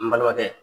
N balimakɛ